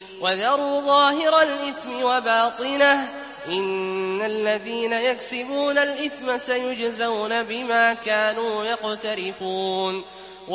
وَذَرُوا ظَاهِرَ الْإِثْمِ وَبَاطِنَهُ ۚ إِنَّ الَّذِينَ يَكْسِبُونَ الْإِثْمَ سَيُجْزَوْنَ بِمَا كَانُوا يَقْتَرِفُونَ